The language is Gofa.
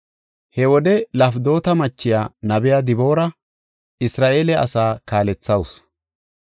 He wode Lafidoota machiya, nabiya Diboora Isra7eele asaa kaalethawus.